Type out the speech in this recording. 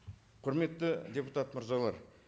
құрметті депутат мырзалар